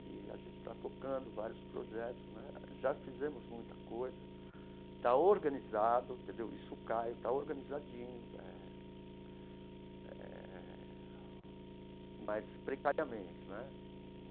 E a gente está tocando vários projetos né, já fizemos muita coisa, está organizado entendeu, isso está, está organizadinho eh eh, mas precariamente né.